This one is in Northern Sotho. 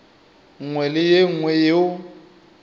nngwe le ye nngwe yeo